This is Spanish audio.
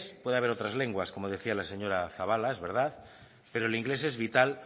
puede haber otras lenguas como decía la señora zabala es verdad pero el inglés es vital